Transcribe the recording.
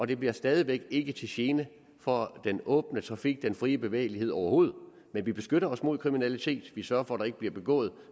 det bliver stadig væk ikke til gene for den åbne trafik og den frie bevægelighed overhovedet men vi beskytter os mod kriminalitet og vi sørger for at der ikke bliver begået